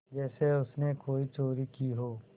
जैसे उसने कोई चोरी की हो